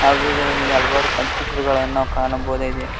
ಹಾಗೂ ಇದರಲ್ಲಿ ಹಲವಾರು ಕಂಪ್ಯೂಟರ್ ಗಳು ನಾವು ಕಾಣಬಹುದಾಗಿದೆ.